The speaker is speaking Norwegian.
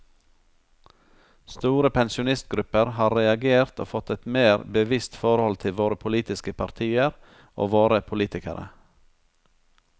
Store pensjonistgrupper har reagert og fått et mer bevisst forhold til våre politiske partier og våre politikere.